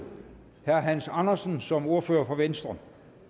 herre hans andersen som ordfører for venstre